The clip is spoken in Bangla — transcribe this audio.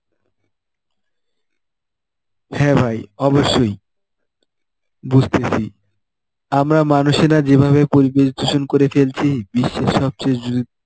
হ্যাঁ ভাই অবশ্যই বুঝতেছি আমরা মানুষেরা যেভাবে পরিবেশ দূষণ করে ফেলছি. বিশ্বের সবচেয়ে দু~